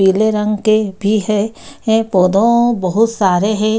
पीले रंग के भी है हैं पौधो बहुत सारे है ।